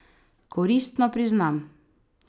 Koristno, priznam!